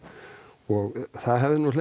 og það hefði